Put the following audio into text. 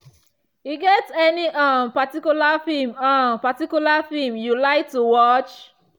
e get any um particular film um particular film you like to watch?